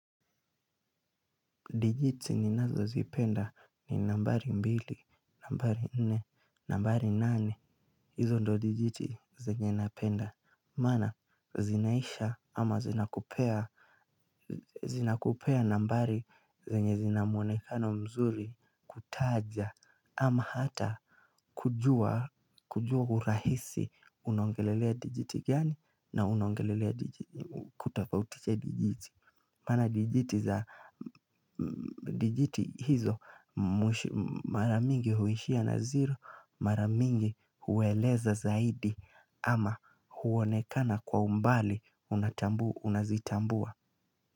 Dijiti ninazozipenda ni nambari mbili, nambari nne, nambari nane, hizo ndio dijiti zenye napenda. Maana, zinaisha ama zinakupea. Zinakupea nambari zenye zinamwonekano mzuri. Taja ama hata kujua kujua urahisi unongelelea dijiti gani na unaongelelea kutapautiche dijiti. Mana dijiti za hizo mara mingi huishia na zero maramingi hueleza zaidi ama huonekana kwa umbali unazitambua.